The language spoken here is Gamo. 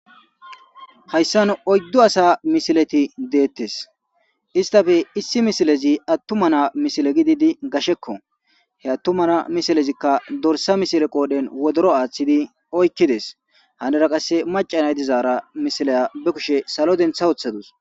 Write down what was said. Hayissani oyiddu assa misileti bettesi isitape issoyi atuma na'a misile gididi gashekko, he atuma na'a misileyi dorissa qodheni woddoro athidi oyikidesi henira qasi macca nayiti dizara misiliya be kushe salo denitha wothadusi.